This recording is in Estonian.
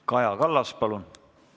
Kaja Kallas, palun!